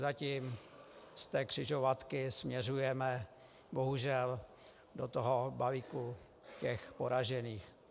Zatím z té křižovatky směřujeme, bohužel, do toho balíku těch poražených.